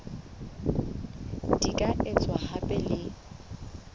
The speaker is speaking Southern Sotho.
di ka etswa hape le